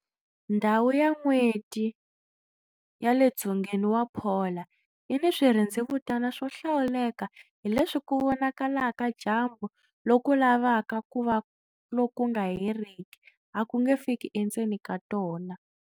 Ndhawu ya N'weti ya le dzongeni wa polar yi ni swirhendzevutana swo hlawuleka hileswi ku vonakala ka dyambu loku lavaka ku va loku nga heriki a ku nge fiki endzeni ka tona.